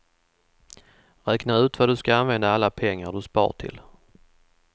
Räkna ut vad du ska använda alla pengar du spar till.